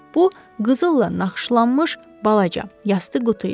Bu qızılla naxışlanmış balaca yastıq qutu idi.